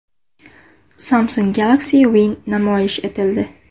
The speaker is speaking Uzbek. Samsung Galaxy Win namoyish etildi.